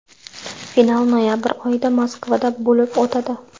Final noyabr oyida Moskvada bo‘lib o‘tadi.